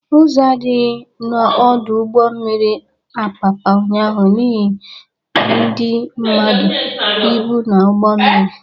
Ụzọ adịghị n'ọdụ ụgbọ mmiri Apapa ụnyaahụ n'ihe ndị mmadụ, ịbụ na ụgbọ mmiri